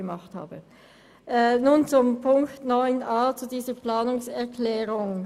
Ich komme zum Themenblock 9.a und zu unserer Planungserklärung: